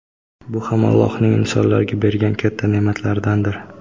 Bu ham Allohning insonlarga bergan katta ne’matlaridandir.